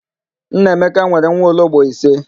Nneamaka nwere nwaologbo ise.